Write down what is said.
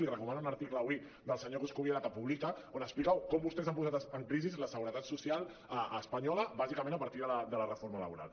li recomano un article avui del senyor coscubiela que publica on explica com vostès han posat en crisi la seguretat social espanyola bàsicament a partir de la reforma laboral